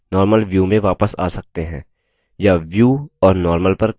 या view और normal पर क्लिक करके